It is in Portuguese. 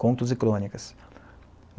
contos e crônicas.